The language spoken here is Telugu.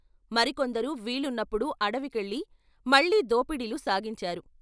మరి కొందరు వీలున్నప్పుడు అడవి కెళ్ళి మళ్ళీ దోపిడీలు సాగించారు.